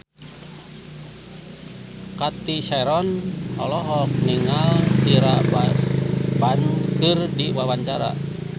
Cathy Sharon olohok ningali Tyra Banks keur diwawancara